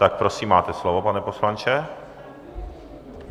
Tak prosím, máte slovo, pane poslanče.